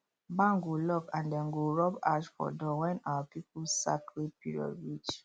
barn go lock and dem go rub ash for door when our people sacred period reach